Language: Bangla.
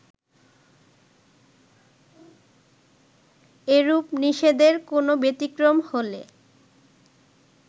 এরূপ নিষেধের কোনো ব্যতিক্রম হলে